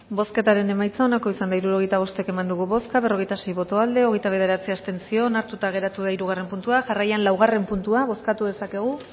bozketaren emaitza onako izan da hirurogeita hamabost eman dugu bozka berrogeita sei boto aldekoa hogeita bederatzi abstentzio onartuta geratu da hirugarren puntua jarraian laugarren puntua bozkatu dezakegu